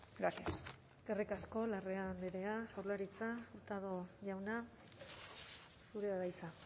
gracias eskerrik asko larrea andrea jaurlaritza hurtado jauna zurea da hitza